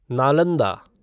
Nalanda